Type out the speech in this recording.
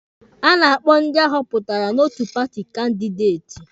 A na-akpọ ndị ahọpụtara n'otu paati kandideti.